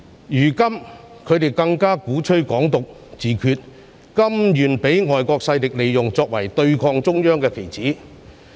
現在他們更鼓吹"港獨"、自決，甘願被外國勢力利用，作為對抗中央的棋子。